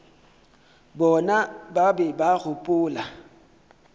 bona ba be ba gopola